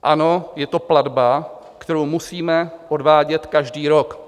Ano, je to platba, kterou musíme odvádět každý rok.